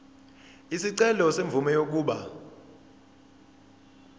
isicelo semvume yokuba